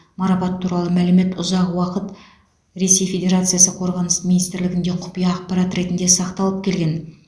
марапат туралы мәлімет ұзақ уақыт ресей федерациясы қорғаныс министрлігінде құпия ақпарат ретінде сақталып келген